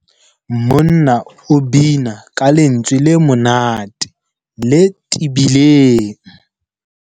Monna o bina ka lentswe le monate le tebileng.